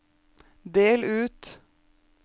del ut